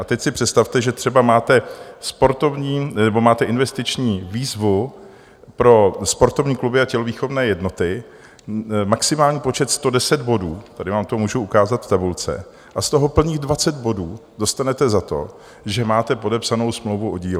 A teď si představte, že třeba máte investiční výzvu pro sportovní kluby a tělovýchovné jednoty, maximální počet 110 bodů, tady vám to můžu ukázat v tabulce , a z toho plných 20 bodů dostanete za to, že máte podepsanou smlouvu o dílo.